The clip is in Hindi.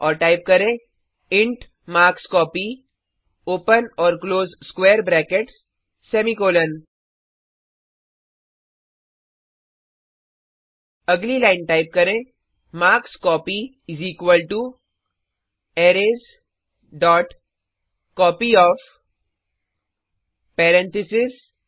और टाइप करें इंट मार्कस्कोपी अगली लाइन टाइप करें मार्कस्कोपी अरेज